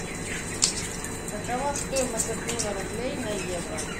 какова стоимость обмена рублей на евро